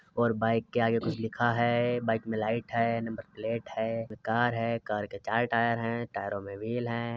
और बाइक के आगे कुछ लिखा है। बाइक में लाईट है। नंबर प्लेट है। कार है। कार के चार टायर है। टैयरो में व्हील हैं।